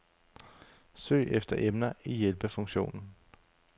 Søg efter emner i hjælpefunktionen.